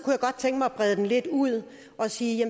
jeg godt tænke mig at brede det lidt ud og sige